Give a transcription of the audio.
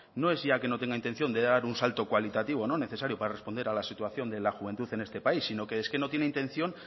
no es ya que no tenga intención de dar un salto cualitativo no necesario para responder a la situación de la juventud en este país sino que es que no tiene intención